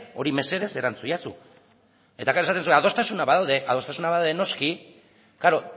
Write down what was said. hori mesedez erantzun iezadazu eta gero esaten duzue adostasunak badaude adostasunak badaude noski klaro